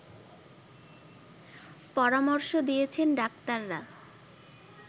পরামর্শ দিয়েছেন ডাক্তাররা